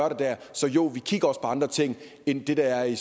så jo vi kigger andre ting end det der er i